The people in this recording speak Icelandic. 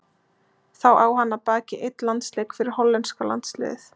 Þá á hann að baki einn landsleik fyrir hollenska landsliðið.